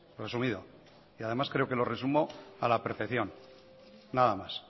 resumido y además creo que lo resumo a la perfección nada más